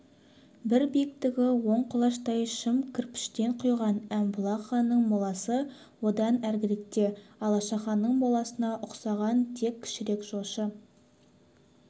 бірі биіктігі он құлаштай шым кірпіштен құйған әмбұлақ ханның моласы одан әріректе алашаханның моласына ұқсаған тек кішірек жошы